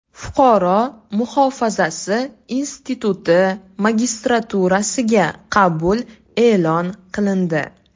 Fuqaro muhofazasi instituti magistraturasiga qabul e’lon qilindi.